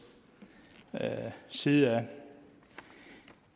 side